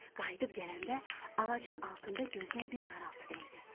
Qayıdıb gələndə ağacın altında gözünə bir qaraltı dəydi.